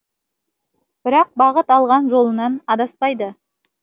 бірақ бағыт алған жолынан адаспайды